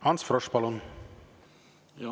Ants Frosch, palun!